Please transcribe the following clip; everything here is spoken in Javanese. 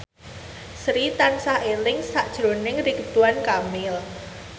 Sri tansah eling sakjroning Ridwan Kamil